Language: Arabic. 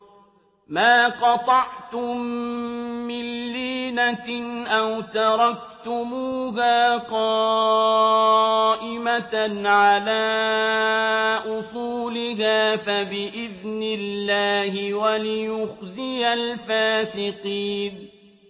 مَا قَطَعْتُم مِّن لِّينَةٍ أَوْ تَرَكْتُمُوهَا قَائِمَةً عَلَىٰ أُصُولِهَا فَبِإِذْنِ اللَّهِ وَلِيُخْزِيَ الْفَاسِقِينَ